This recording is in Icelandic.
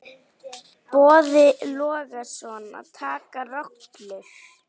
Boði Logason: Að taka rollur?